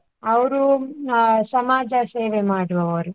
ಅವರು ಆ ಸಮಾಜಸೇವೆ ಮಾಡುವವರು.